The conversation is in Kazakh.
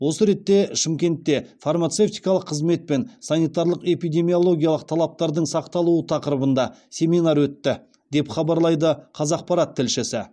осы ретте шымкентте фармацевтикалық қызмет пен санитарлық эпидемиологиялық талаптардың сақталуы тақырыбында семинар өтті деп хабарлайды қазақпарат тілшісі